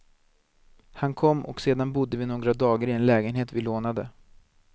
Han kom, och sedan bodde vi några dagar i en lägenhet vi lånade.